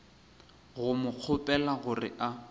go mo kgopela gore a